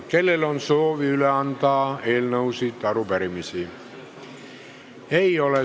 Kellel on soovi üle anda eelnõusid või arupärimisi?